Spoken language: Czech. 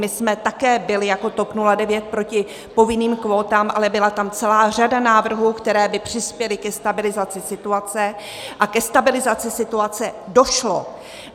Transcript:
My jsme také byli jako TOP 09 proti povinným kvótám, ale byla tam celá řada návrhů, které by přispěly ke stabilizaci situace, a ke stabilizaci situace došlo.